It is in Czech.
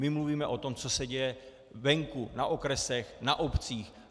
My mluvíme o tom, co se děje venku, na okresech, na obcích.